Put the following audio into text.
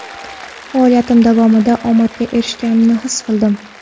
Faoliyatim davomida omadga erishganimni his qildim.